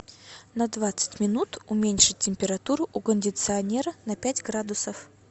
на двадцать минут уменьшить температуру у кондиционера на пять градусов